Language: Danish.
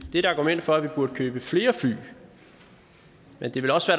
et argument for at vi burde købe flere fly men det ville også